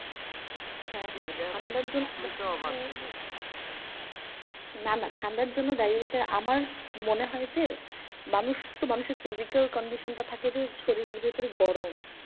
না না ঠান্ডার জন্য ডায়রিয়া টা আমার মনে হয় যে, মানুষ তো মানুষের physical condition টা থাকে যে শরীরের ভেতরে গরম।